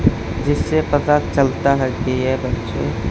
जिससे पता चलता है की ये बच्चे--